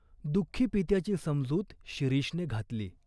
दुःखी पित्याची समजूत शिरीषने घातली.